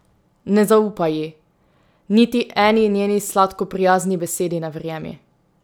Ne zaupaj ji, niti eni njeni sladko prijazni besedi ne verjemi.